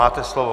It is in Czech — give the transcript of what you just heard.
Máte slovo.